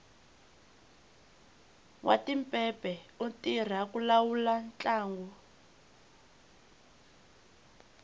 nwatipepe u tirha ku lawula ntlangu